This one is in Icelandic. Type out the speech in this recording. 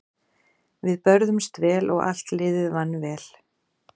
Við börðumst vel og allt liðið vann vel.